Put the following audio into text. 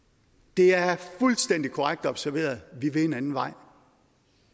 det er fuldstændig korrekt observeret vi vil en anden vej